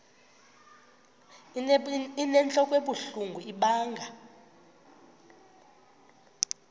inentlok ebuhlungu ibanga